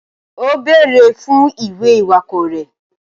O béèrè fún ìwé iwakọ rẹ.